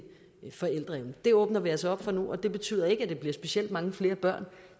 forældreevnen det åbner vi altså op for nu og det betyder ikke at det bliver specielt mange flere børn